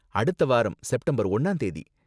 அடுத்த வாரம், செப்டம்பர் ஒன்னாந்தேதி.